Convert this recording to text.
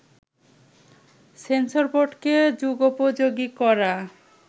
sensor বোর্ডকে যুগোপযোগী করা